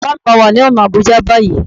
Bàbá mi wà ní ọ̀nà Àbújá báyìí